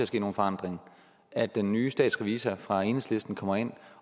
ske nogen forandringer at den nye statsrevisor fra enhedslisten kommer ind